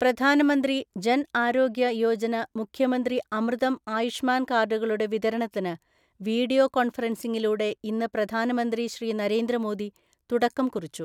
പ്രധാനമന്ത്രി ജന് ആരോഗ്യ യോജന മുഖ്യമന്ത്രി അമൃതം ആയുഷ്മാന്‍ കാര്ഡുകളുടെ വിതരണത്തിന് വീഡിയോ കോണ്ഫറന്സിംഗിലൂടെ ഇന്ന് പ്രധാനമന്ത്രി ശ്രീ നരേന്ദ്ര മോദി തുടക്കം കുറിച്ചു.